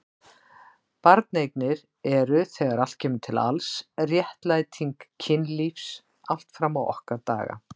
Barneignir eru þegar allt kemur til alls réttlæting kynlífs allt fram á okkar daga.